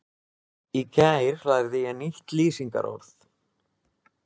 Í gær lærði ég nýtt lýsingarorð.